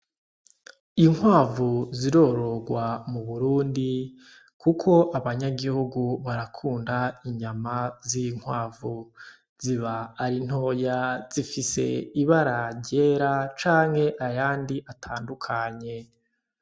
Inkwavu zirororwa mu burundi, kuko abanyagihugu barakunda inyama z'inkwavu ziba arintoya zifise ibara ryera canke ayandi atandukanye.